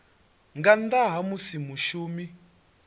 nga nnḓa ha musi mushumi